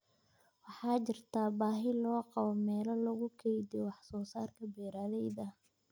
Waxaa jirta baahi loo qabo meelo lagu kaydiyo wax soo saarka beeralayda.